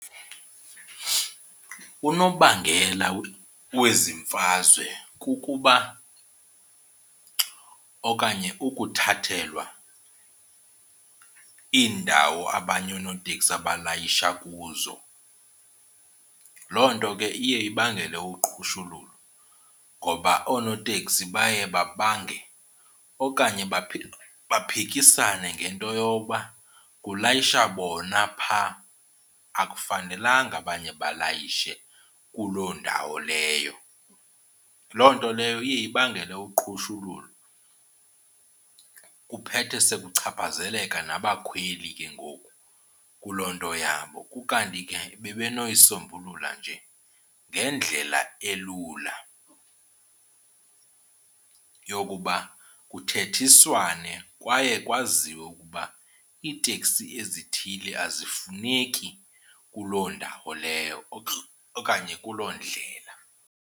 Unobangela wezi emfazwe kukuba okanye kukuthathelwa iindawo abanye oonoteksi abalayisha kuzo. Loo nto ke iye ibangele uqhushululu ngoba oonoteksi baye babange okanye baphikisane ngento yoba kulayisha bona phaa akufanelanga abanye balayishe kuloo ndawo leyo. Loo nto leyo iye ibangele uqhushululu kuphethe sekuchaphazeleka nabakhweli ke ngoku kuloo nto yabo. Kukanti ke bebenoyisombulula nje ngendlela elula yokuba kuthethiswane kwaye kwaziwe ukuba iiteksi ezithile azifuneki kuloo ndawo leyo okanye kuloo ndlela.